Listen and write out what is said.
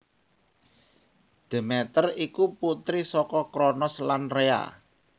Demeter iku putri saka Kronos lan Rhea